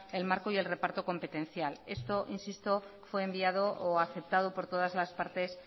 el marco y el reparto competencial esto insisto fue enviado o aceptado por todas las partes